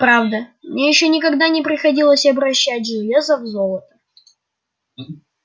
правда мне никогда ещё не приходилось обращать железо в золото